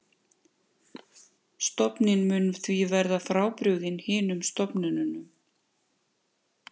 Stofninn mun því verða frábrugðinn hinum stofnunum.